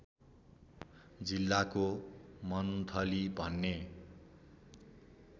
जिल्लाको मन्थली भन्ने